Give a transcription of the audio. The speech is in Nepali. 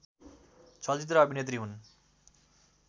चलचित्र अभिनेत्री हुन्